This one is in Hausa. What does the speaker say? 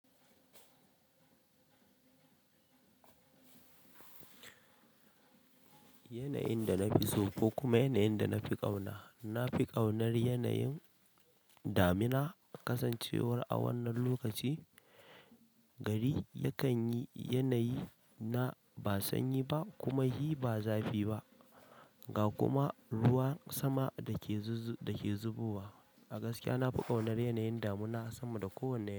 Yanayin da na fi so ko kuma yanayin da na fi ƙauna, na fi ƙaunar yanayin damina. Nasan cewa a wannan lokaci gari ya kan yi yanayi na ba sanyi kuma shi ba zafi ba ga kuma ruwan sama dake zubowa. A gaskiya na fi ƙaunar yanayin damina sama da kowane yanayi.